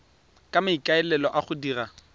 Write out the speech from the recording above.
ka maikaelelo a go dira